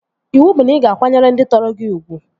Iwu bụ na ị ga akwanyere ndị tọrọ gị ugwu!